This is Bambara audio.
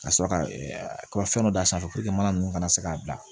Ka sɔrɔ ka fɛn dɔ d'a sanfɛ mana ninnu kana se k'a bila